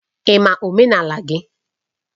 Ị ma omenala gị?